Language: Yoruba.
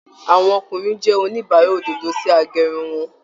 Àwọn ọkùnrin jẹ oníbàrá òdodo si agérun won